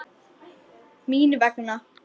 Mín vegna.